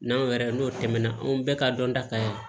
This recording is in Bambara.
N'anw yɛrɛ n'o tɛmɛna anw bɛɛ ka dɔnta ka